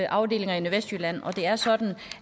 afdelinger i nordvestjylland og det er sådan